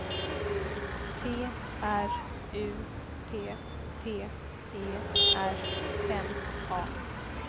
T R U P P E R N A